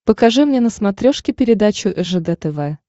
покажи мне на смотрешке передачу ржд тв